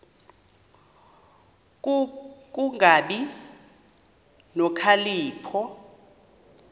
ku kungabi nokhalipho